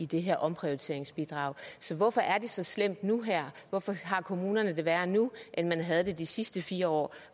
det her omprioriteringsbidrag så hvorfor er det så slemt nu her hvorfor har kommunerne det værre nu end man havde det de sidste fire år